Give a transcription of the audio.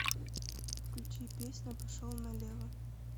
включи песня пошел налево